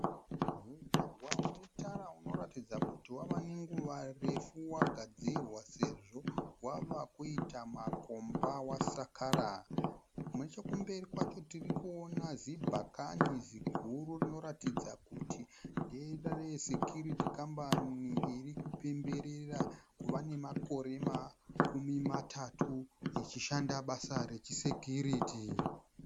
Mugwagwa unetara unoratidza kuti wavanenguva refu wakadzirwa sezvo wavakuita makomba wasakara. Nechekumberi kwacho tirikuona zibhakani ziguru rinokuratidza kuti ndere sekuyuriti kambani irikupemberera makore makumi matatu ichishanda basa rechisekiyuriti.